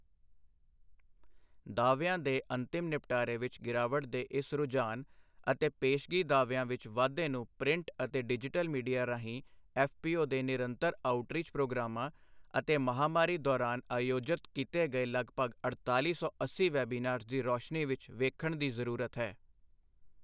ਦਾਅਵਿਆਂ ਦੇ ਅੰਤਮ ਨਿਪਟਾਰੇ ਵਿੱਚ ਗਿਰਾਵਟ ਦੇ ਇਸ ਰੁਝਾਨ ਅਤੇ ਪੇਸ਼ਗੀ ਦਾਅਵਿਆਂ ਵਿੱਚ ਵਾਧੇ ਨੂੰ ਪ੍ਰਿੰਟ ਅਤੇ ਡਿਜੀਟਲ ਮੀਡੀਆ ਰਾਹੀਂ ਈਪੀਐਫਊ ਦੇ ਨਿਰੰਤਰ ਆਉਟਰੀਚ ਪ੍ਰੋਗਰਾਮਾਂ ਅਤੇ ਮਹਾਮਾਰੀ ਦੌਰਾਨ ਆਯੋਜਤ ਕੀਤੇ ਗਏ ਲਗਭਗ ਅੜਤਾਲੀ ਸੌ ਅੱਸੀ ਵੈਬਿਨਾਰਜ ਦੀ ਰੋਸ਼ਨੀ ਵਿੱਚ ਵੇਖਣ ਦੀ ਜ਼ਰੂਰਤ ਹੈ।